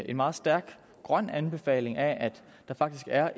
en meget stærk grøn anbefaling af at der faktisk er